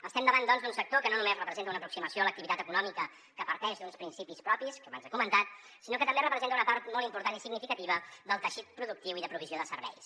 estem davant doncs d’un sector que no només representa una aproximació a l’activitat econòmica que parteix d’uns principis propis que abans he comentat sinó que també representa una part molt important i significativa del teixit productiu i de provisió de serveis